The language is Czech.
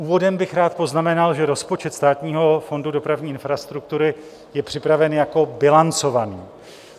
Úvodem bych rád poznamenal, že rozpočet Státního fondu dopravní infrastruktury je připraven jako bilancovaný.